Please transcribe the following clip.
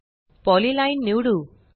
polyline निवडू